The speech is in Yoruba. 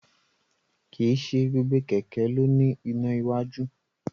Kìí se gbogbo kẹ̀kẹ́ ló ní iná iwájú